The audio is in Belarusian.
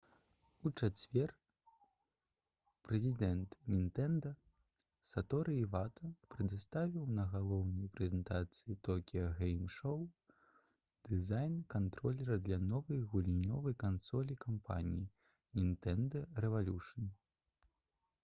у чацвер прэзідэнт «нінтэнда» саторы івата прадставіў на галоўнай прэзентацыі «токіа гэйм шоу» дызайн кантролера для новай гульнёвай кансолі кампаніі «нінтэнда рэвалюшн»